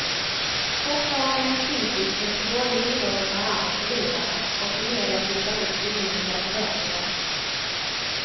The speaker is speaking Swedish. Fortfarande är han kritisk mot hur dåligt idrotten tar hand om förlorarna och hur media trissar upp orimliga förväntningar.